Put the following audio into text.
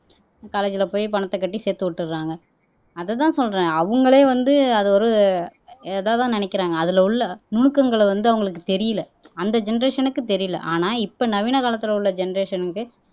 காலேஜ்ல போய் பணத்தை கட்டி சேர்த்து விட்டுறாங்க அதுதான் சொல்றேன் அவங்களே வந்து அது ஒரு இதாதான் நினைக்கிறாங்க அதுல உள்ள நுணுக்கங்களை வந்து அவங்களுக்கு தெரியலே அந்த ஜெனெரேஷன்க்கு தெரியலே ஆனா இப்ப நவீன காலத்துல உள்ள ஜெனெரேஷன்க்கு